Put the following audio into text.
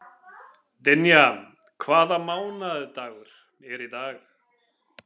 Dynja, hvaða mánaðardagur er í dag?